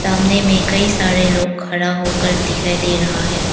सामने में कई सारे लोग खड़ा होकर दिखाई दे रहा है।